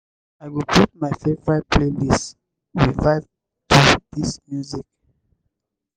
i go put my favorite playlist make we vibe to di music.